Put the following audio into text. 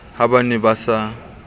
ha ba ne ba sa